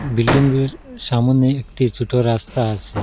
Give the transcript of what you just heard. বিল্ডিংয়ের সামোনে একটি ছোট রাস্তা আছে।